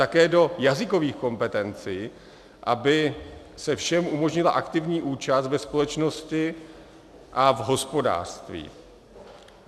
Také do jazykových kompetencí, aby se všem umožnila aktivní účast ve společnosti a v hospodářství.